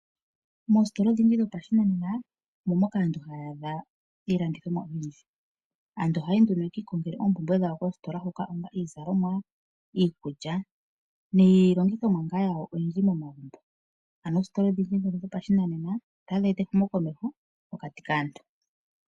Moositola odhindji dhopashinanena omo moka aantu haya adha iilandomwa oyindji. Aantu ohaya yi yekiilongela oompumbwe dhawo koositola hoka onga iizalomwa, iikulya niilongithomwa yawo oyindji momagumbo . Oositola otadhi eta ehumo komeho mokati kaantu.